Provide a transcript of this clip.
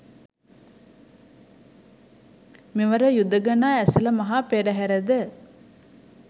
මෙවර යුදඟනා ඇසළ මහා පෙරහර ද